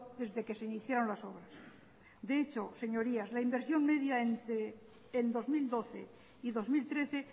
desde que se iniciaron las obras de hecho señorías la inversión media en dos mil doce y dos mil trece